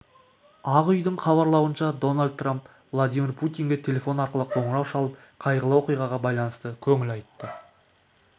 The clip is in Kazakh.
ақ үйдің хабарлауынша дональд трамп владимир путинге телефон арқылы қоңырау шалып қайғылы оқиғаға байланысты көңіл айтты